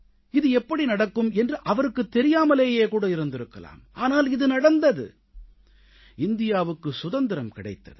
இது எப்படி நடக்கும் என்று அவருக்குத் தெரியாமலேயே கூட இருந்திருக்கலாம் ஆனால் இது நடந்தது இந்தியாவுக்கு சுதந்திரம் கிடைத்தது